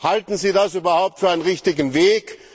Halten Sie das überhaupt für einen richtigen Weg?